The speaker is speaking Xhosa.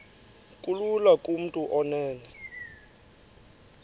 kulula kumntu onen